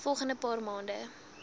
volgende paar maande